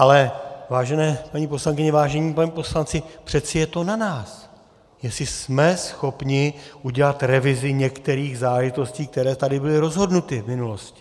Ale vážené paní poslankyně, vážení páni poslanci, přeci je to na nás, jestli jsme schopni udělat revizi některých záležitostí, které tady byly rozhodnuty v minulosti.